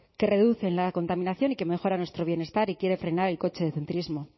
que reducen la contaminación y que mejoran nuestro bienestar y quieren frenar el cochecentrismo